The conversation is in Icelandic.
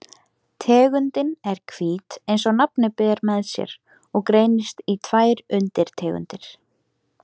Tegundin er hvít eins og nafnið ber með sér og greinist í tvær undirtegundir.